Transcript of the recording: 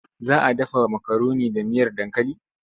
Za a dafa makaroni da miyar dankali?